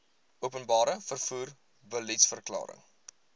openbare vervoer beliedsverklaring